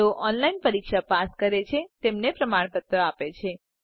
જેઓ ઓનલાઇન પરીક્ષા પાસ કરે છે તેમને પ્રમાણપત્રો આપે છે